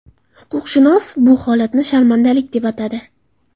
Huquqshunos bu holatni sharmandalik deb atadi.